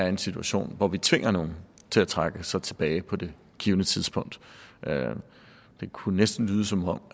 en situation hvor vi tvinger nogen til at trække sig tilbage på det givne tidspunkt det kunne næsten lyde som om